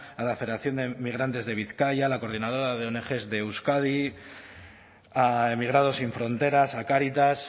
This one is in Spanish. a la federación de migrantes de bizkaia a la coordinadora de ong de euskadi a emigrados sin fronteras a cáritas